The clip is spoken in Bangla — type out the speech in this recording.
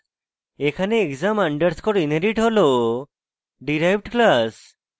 এখানে exam আন্ডারস্কোর inherit হল derived class